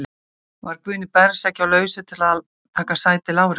Var Guðni Bergsson ekki á lausu til að taka sæti Lárusar?